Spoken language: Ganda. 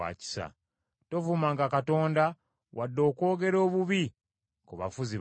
“Tovumanga Katonda, wadde okwogera obubi ku bafuzi bammwe.